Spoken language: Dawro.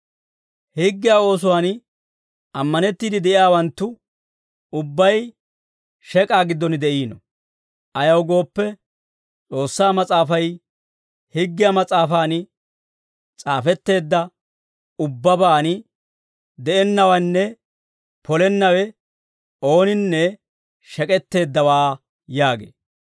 Higgiyaa oosuwaan ammanettiide de'iyaawanttu ubbay shek'aa giddon de'iino; ayaw gooppe, S'oossaa Mas'aafay, «Higgiyaa mas'aafan s'aafetteedda ubbabaan de'ennawenne polennawe ooninne shek'etteeddawaa» yaagee.